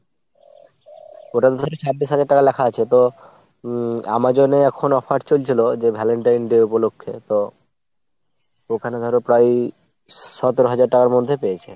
ওটাতো ধরো ছাব্বিশ হাজার টাকা লেখা আছে তো উম Amazon এ এখন offer চলছিল যে Valentine Day উপলক্ষে তো ওখানে ধরো প্রায়ই সতেরো হাজার টাকার মধ্যে পেয়েছে।